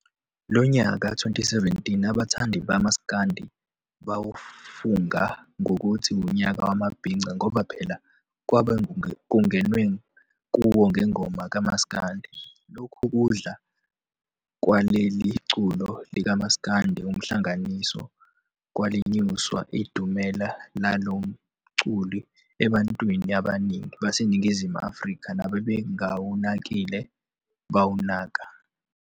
Lo nyaka, 2017, abathandi bamasikandi bawafunga ngokuthi unyaka wamabhinca ngoba phela kwaba kungenwe kuwo ngengoma kamasikandi. Lokhu kudla kwaleli culo lika masikandi umhlangananiso kwalinyusa idumela lalomculo ebantwini abaningi baseNingizimu Afrika, nababengawunakile bawunaka.